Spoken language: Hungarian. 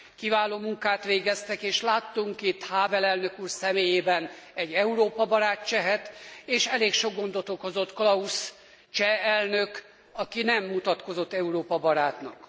Kiváló munkát végeztek és láttunk itt Hável elnök úr személyében egy Európa barát csehet, és elég sok gondot okozott Klaus cseh elnök, aki nem mutatkozott Európa barátnak.